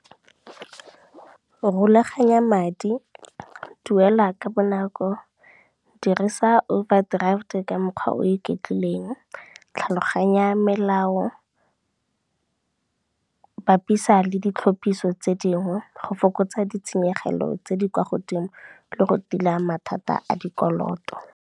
Rulaganya madi, duela ka bonako, dirisa overdraft ka mokgwa o iketlileng, tlhaloganya melao, bapisa le ditlhopiso tse dingwe go fokotsa ditshenyegelo tse di kwa godimo le go tila mathata a dikoloto.